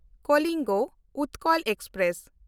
Kalinga Utkal express